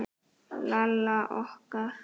Lalla okkar.